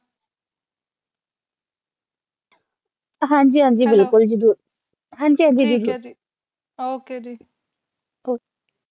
ਹਾਂਜੀ ਹਾਂਜੀ ਬਿਲਕੁਲ ਜਰੂਰ ਹਾਂਜੀ ਹਾਂਜੀ ਠੀਕ ਆ Ok ਜੀ